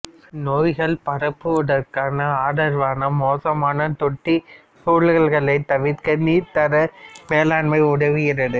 நோய்களை பரப்புவதற்கு ஆதரவான மோசமான தொட்டி சூழல்களை தவிர்க்க நீர்த் தர மேலாண்மை உதவுகிறது